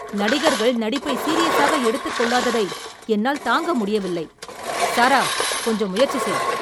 நடிகர்கள் நடிப்பை சீரியஸாக எடுத்துக் கொள்ளாததை என்னால் தாங்க முடியவில்லை. சாரா, கொஞ்சம் முயற்சி செய்!